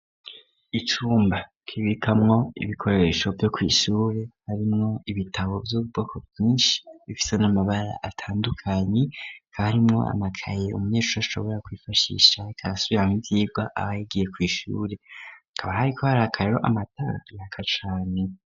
Icumba kibikamwo ibikoresho vyo ku ishure harimwo ibitabo vyubwoko bwinshi bifite n'amabara atandukanye hakaba harimwo amakayi umunyeshure ashobora kwifashisha agasubiramwo ibyigwa abaye agiye ku ishure akaba hari ko hari akariro amatara araka cane.